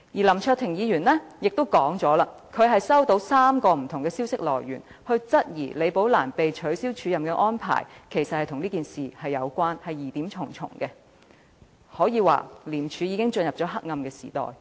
林卓廷議員亦指出，他收到3個不同的消息來源，均質疑李寶蘭被取消署任安排一事其實與此事有關，疑點重重，廉署可說已進入黑暗時代。